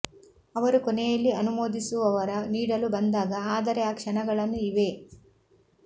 ಅವರು ಕೊನೆಯಲ್ಲಿ ಅನುಮೋದಿಸುವವರ ನೀಡಲು ಬಂದಾಗ ಆದರೆ ಆ ಕ್ಷಣಗಳನ್ನು ಇವೆ